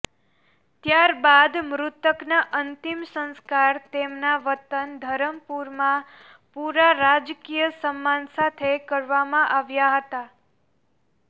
ત્યાર બાદ મૃતકના અંતિમ સંસ્કાર તેમના વતન ધરમપુરમાં પુરા રાજકીય સન્માન સાથે કરવામાં આવ્યા હતા